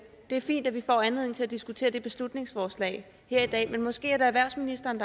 er fint at vi får anledning til at diskutere det beslutningsforslag her i dag men måske er det erhvervsministeren